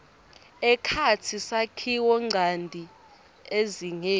ekhatsi sakhiwonchanti ezingeni